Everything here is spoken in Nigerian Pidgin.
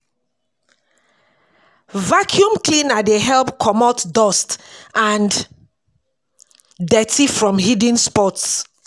Vaccume cleaner dey help comot dust and dirty from hidden spots